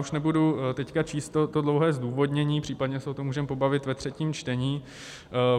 Už nebudu teď číst to dlouhé zdůvodnění, případně se o tom můžeme pobavit ve třetím čtení.